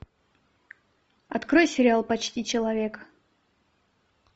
открой сериал почти человек